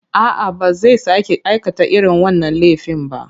A'a, ba zai sake aikata irin wannan laifin ba.